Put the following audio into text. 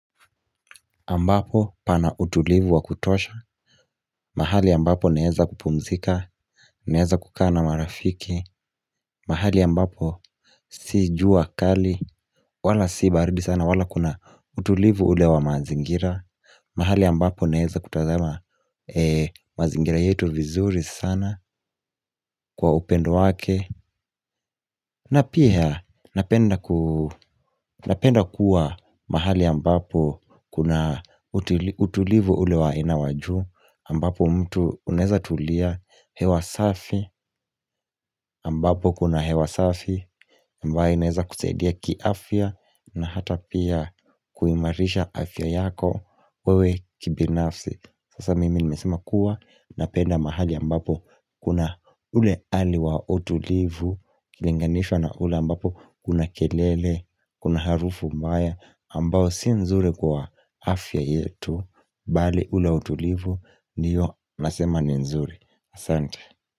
Ambapo pana utulivu wa kutosha, mahali ambapo neeza kupumzika, naeza kukaana marafiki, mahali ambapo si jua kali, wala si baridi sana, wala kuna utulivu ulewa mazingira, mahali ambapo neeza kutazama mazingira yetu vizuri sana kwa upendo wake. Na pia napenda kuwa mahali ambapo kuna utulivu ulewa inawajuu ambapo mtu uneza tulia hewasafi ambapo kuna hewasafi ambayo inaeza kuseedia kiafya na hata pia kuimarisha afya yako wewe kibinafsi Sasa mimi nimesema kuwa na penda mahali ambapo kuna ule ali wa utulivu Kilinganishwa na ule ambapo kuna kelele, kuna harufu mbaya ambao si nzuri kwa afya yetu Bali ule utulivu, ndiyo nasema ni nzuri Asante.